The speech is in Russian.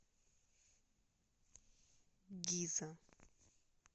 гиза